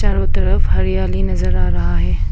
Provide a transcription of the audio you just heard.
चारों तरफ हरियाली नजर आ रहा है।